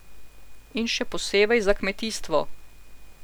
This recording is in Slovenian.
In še posebej za kmetijstvo.